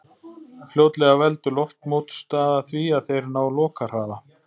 Fljótlega veldur loftmótstaða því að þeir ná lokahraða.